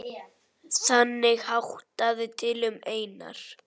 Þannig háttaði til um Einar.